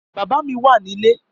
Bàbá mi wà nilé